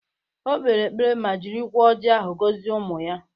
O kpere ekpere ma jirikwa ọji ahụ gọzie ụmụ ya